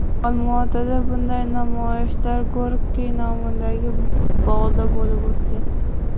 Olmaotada bunday namoyishlar Gorkiy nomidagi bog‘da bo‘lib o‘tgan.